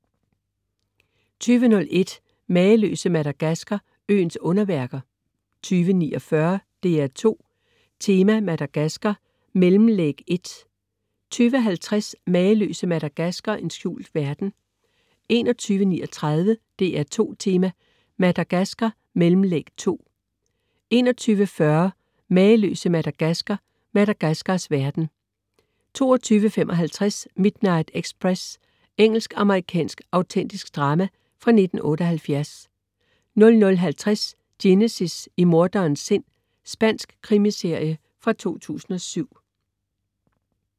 20.01 Mageløse Madagaskar, øens underværker 20.49 DR2 Tema: Madagaskar, mellemlæg 1 20.50 Mageløse Madagaskar, en skjult verden 21.39 DR2 Tema: Madagaskar, mellemlæg 2 21.40 Mageløse Madagaskar, Madagaskars verden 22.55 Midnight Express. Engelsk-amerikansk autentisk drama fra 1978 00.50 Genesis. I morderens sind. Spansk krimiserie fra 2007